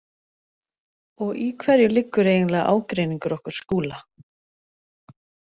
Og í hverju liggur eiginlega ágreiningur okkar Skúla?